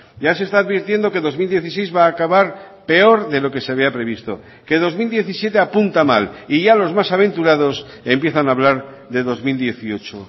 ya se está advirtiendo que dos mil dieciséis va a acabar peor de lo que se había previsto que dos mil diecisiete apunta mal y ya los más aventurados empiezan a hablar de dos mil dieciocho